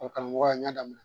O karamɔgɔya n y'a daminɛ